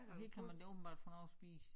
Og her kan man da åbenbart få noget at spise